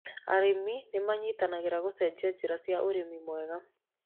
Arĩmi nĩ manyitanagĩrĩra gũcenjia njĩra cia ũrĩmi mwega.